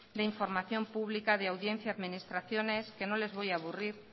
de información pública de audiencia a administraciones que no les voy a aburrir